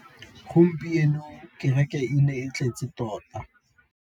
Gompieno kêrêkê e ne e tletse tota.